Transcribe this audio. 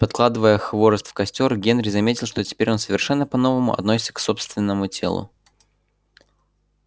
подкладывая хворост в костёр генри заметил что теперь он совершенно по новому относится к собственному телу